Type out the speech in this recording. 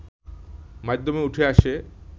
মাধ্যমে উঠে আসে